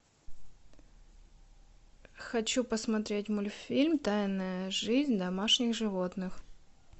хочу посмотреть мультфильм тайная жизнь домашних животных